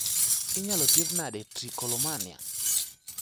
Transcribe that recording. inyalo thiedhi nade trichotillomania